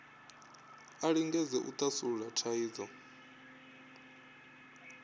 a lingedze u thasulula thaidzo